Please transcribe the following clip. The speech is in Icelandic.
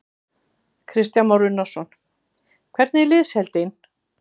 Kristján Már Unnarsson: Hvernig er liðsheildin?